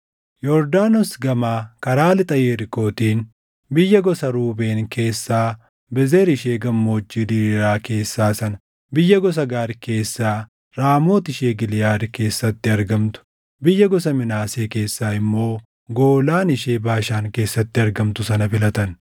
Yordaanos gamaa karaa lixa Yerikootiin, biyya gosa Ruubeen keessaa Bezer ishee gammoojjii diriiraa keessaa sana, biyya gosa Gaad keessaa Raamooti ishee Giliʼaad keessatti argamtu, biyya gosa Minaasee keessaa immoo Goolaan ishee Baashaan keessatti argamtu sana filatan.